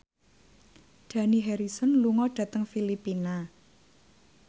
Dani Harrison lunga dhateng Filipina